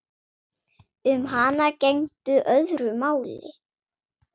Um hana gegndi öðru máli.